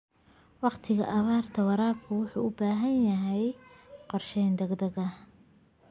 Waqtiyada abaarta, waraabku wuxuu u baahan yahay qorshe degdeg ah.